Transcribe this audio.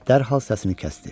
Dərhal səsini kəsdi.